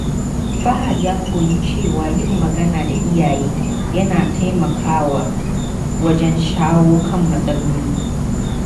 Fahad ya koyi cewa yin magana da iyaye yana taimakawa wajen shawo kan matsaloli.